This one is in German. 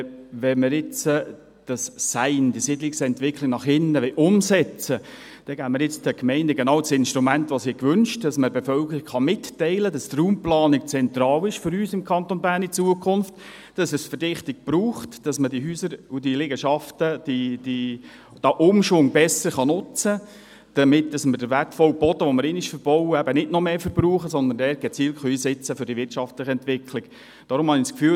Wenn wir dieses SEin, die Siedlungsentwicklung nach innen, umsetzen wollen, geben wir den Gemeinden nun genau das Instrument, welches sie gewünscht haben, sodass man der Bevölkerung mitteilen kann, dass die Raumplanung für uns im Kanton Bern in Zukunft zentral ist, dass es Verdichtung braucht, dass man die Häuser und Liegenschaften, den Umschwung besser nutzen kann, damit wir den wertvollen Boden, den wir einmal verbauen, nicht noch mehr verbrauchen, sondern für die wirtschaftliche Entwicklung gezielt einsetzen kann.